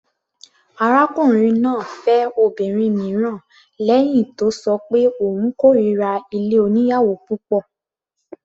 Arákùnrin náà fẹ́ obìnrin mìíràn lẹ́hìn tó ṣọ pé òun kórira ilé oníyàwò púpọ̀.